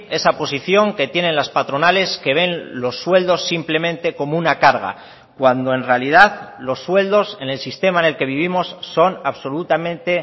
esa posición que tienen las patronales que ven los sueldos simplemente como una carga cuando en realidad los sueldos en el sistema en el que vivimos son absolutamente